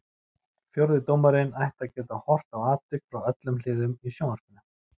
Fjórði dómarinn ætti að geta horft á atvik frá öllum hliðum í sjónvarpinu.